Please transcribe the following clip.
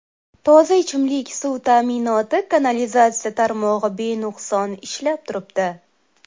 Toza ichimlik suv ta’minoti, kanalizatsiya tarmog‘i benuqson ishlab turibdi.